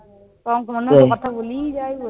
কথা বলেই যায়